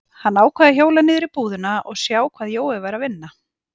Hann ákvað að hjóla niður í búðina og sjá hvað Jói væri að vinna.